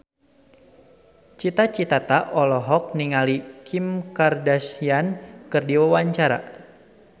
Cita Citata olohok ningali Kim Kardashian keur diwawancara